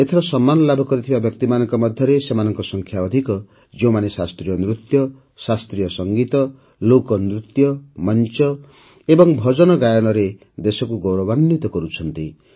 ଏଥର ସମ୍ମାନ ଲାଭ କରିଥିବା ବ୍ୟକ୍ତିମାନଙ୍କ ମଧ୍ୟରେ ସେମାନଙ୍କ ସଂଖ୍ୟା ଅଧିକ ଯେଉଁମାନେ ଶାସ୍ତ୍ରୀୟ ନୃତ୍ୟ ଶାସ୍ତ୍ରୀୟ ସଙ୍ଗୀତ ଲୋକନୃତ୍ୟ ମଞ୍ଚ ଏବଂ ଭଜନ ଗାୟନରେ ଦେଶକୁ ଗୌରବାନ୍ୱିତ କରୁଛନ୍ତି